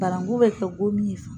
Bananku be kɛ gomin ye